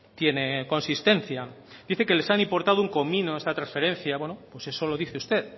tiene consistencia dice que les ha importado un comino esta transferencia bueno pues eso lo dice usted